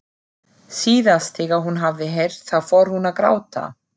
Síðast þegar hún hafði heyrt það fór hún að gráta.